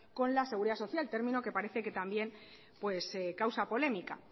con la seguridad social término que parece que también pues causa polémica